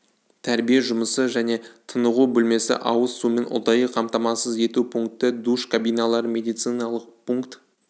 тәрбие жұмысы және тынығу бөлмесі ауыз сумен ұдайы қамтамасыз ету пункті душ кабиналары медициналық пункт